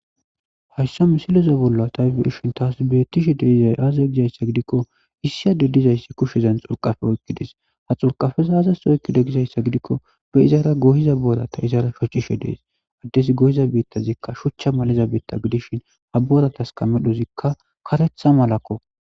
hayssa misilezo bolla tayfe hishshin taasbettishe deizay aaza gizayssa gidikko issiyade dizayssi kushezan xulqafe oykkides ha xulqafeza azasa oykkide gizayssa gidikko be izaara gohiza boorata izaara shoccishe dees addesi gohiza biittazikka shuchcha maliza biitta gidishin ha booratas kamedhozikka karetha malakko.